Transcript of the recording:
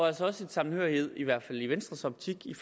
altså også en sammenhørighed i hvert fald i venstres optik i